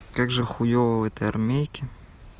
как же хуёво в этой армейке